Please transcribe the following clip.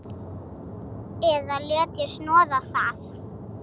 Eða léti snoða það.